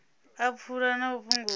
a pfulo na u fhungudza